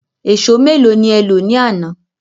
Ẹ̀sọ́ méèló ni e lọ ní àná?